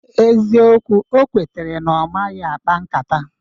Eziokwu, o kwetere na ọ maghị akpa nkata